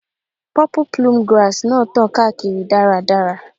Purple plume grass náà tàn káàkiri dáradára.